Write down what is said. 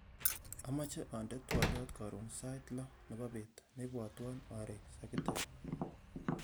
Amache andene twoliot karon sait loo nebo beet neibwotwon are sakitek